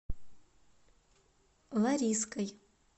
лариской